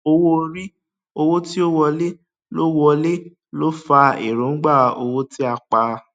owó orí owó tí ó wọlé ló ó wọlé ló fa èròǹgbà owó tí a pa